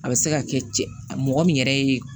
A bɛ se ka kɛ cɛ mɔgɔ min yɛrɛ ye